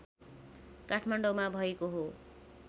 काठमाडौँमा भएको हो